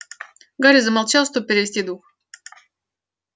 гарри замолчал чтобы перевести дух